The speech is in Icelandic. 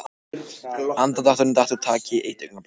Andardrátturinn datt úr takti eitt augnablik.